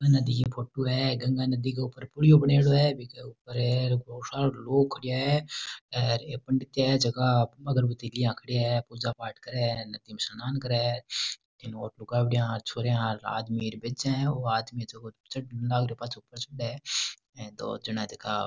नदी की फोटो है गंगा नदी के ऊपर पुलियो बनेडो है बीके ऊपर बहुत सारा लोग खड़िया है और ये पंडित है जेका अगरबत्ती लियाँ खड़ेया है पूजा पाठ करे है नदी में स्नान करे है इन और लुगावड़िया छोरिया र आदमी बेजा है ओ आदमी है जको चढ़न लाग रियो है पाछो ऊपर चढ़े हे दो जना है जका --